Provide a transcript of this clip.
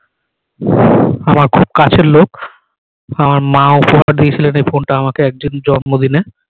আমার খুব কাছের লোক আমার মা উপহারটা দিয়েছিলেন এই ফোন টা আমাকে একদিন জন্ম দিনে